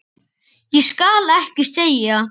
Ég skal ekki segja.